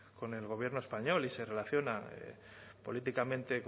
con el gobierno español y se relaciona políticamente